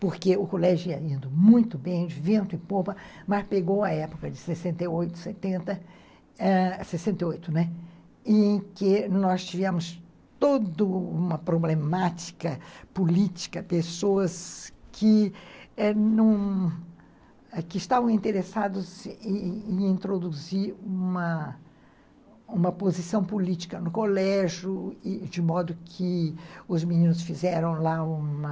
porque o colégio ia indo muito bem, de vento e polpa, mas pegou a época de sessenta e oito, setenta, sessenta e oito, né, em que nós tivemos toda uma problemática política, pessoas que estavam interessadas em introduzir uma uma posição política no colégio, de modo que os meninos fizeram lá uma...